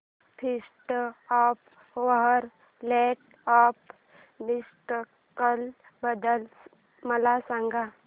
feast of our lady of miracles बद्दल मला सांगा